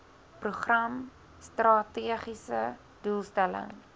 program strategiese doelstelling